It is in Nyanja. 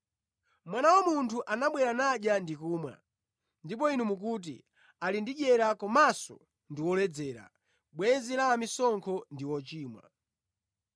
Mwana wa Munthu anabwera nadya ndi kumwa, ndipo inu mukuti, ‘Ali ndi dyera komanso ndi woledzera, bwenzi la amisonkho ndi ochimwa.’